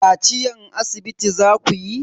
Kaciyan asibiti zakuyi?